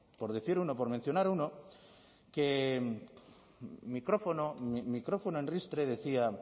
por decir uno por mencionar uno que micrófono micrófono en ristre decía